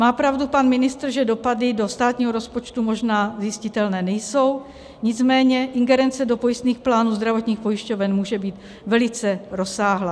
Má pravdu pan ministr, že dopady do státního rozpočtu možná zjistitelné nejsou, nicméně ingerence do pojistných plánů zdravotních pojišťoven může být velice rozsáhlá.